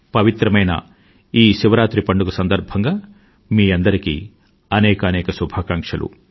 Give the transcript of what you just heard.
పవిత్రమైన ఈ శివరాత్రి పండుగ సందర్భంగా మీ అందరికీ అనేకానేక శుభాకాంక్షలు